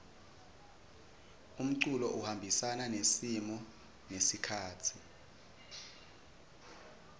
umculo uhambisana nesimo nesikhatsi